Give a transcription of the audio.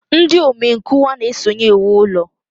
Ndị omenkụkwa na-esonye ewu ulo